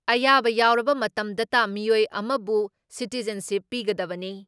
ꯑꯌꯥꯕ ꯌꯥꯎꯔꯕ ꯃꯇꯝꯗꯇ ꯃꯤꯑꯣꯏ ꯑꯃꯕꯨ ꯁꯤꯇꯤꯖꯟꯁꯤꯞ ꯄꯤꯒꯗꯕꯅꯤ ꯫